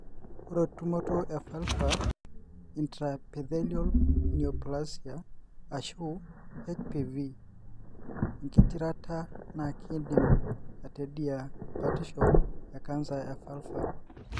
ore tumoto evulvar intraepithelial neoplasia ashu HPV engitirata na kindim atedia batisho ecancer e vulvar.